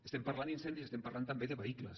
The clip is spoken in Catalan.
estem parlant d’incendis estem parlant també de vehicles